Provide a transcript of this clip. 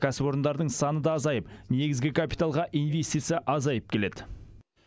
кәсіпорындардың саны да азайып негізгі капиталға инвестиция азайып келеді